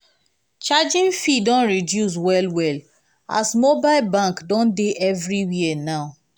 charging fee don reduce well-well as mobile bank don dey everywhere now.